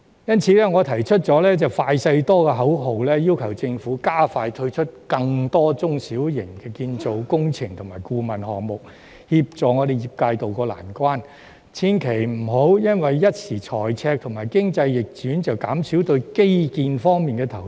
因此，我提出"快、細、多"的口號，要求政府加快推出更多中小型建造工程及顧問項目，協助業界渡過難關，千萬別因一時財赤或經濟逆轉便減少基建投資。